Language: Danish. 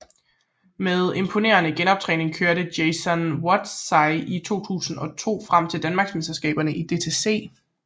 Med imponerende genoptræning kørte Jason Watt sig i 2002 frem til et Danmarksmesterskab i DTC